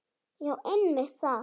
Já einmitt það.